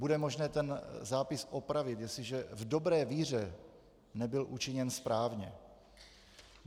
Bude možné ten zápis opravit, jestliže v dobré víře nebyl učiněn správně.